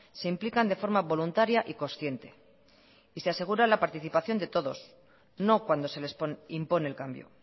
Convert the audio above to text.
se implican de forma voluntaria y consciente y se asegura la participación de todos no cuando se les impone el cambio